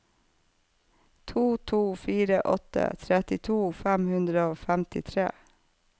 to to fire åtte trettito fem hundre og femtitre